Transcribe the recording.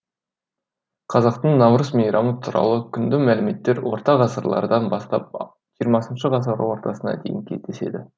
қазақтың наурыз мейрамы туралы құнды мәліметтер орта ғасырлардан бастап жиырмасыншы ғасыр ортасына дейін кездеседі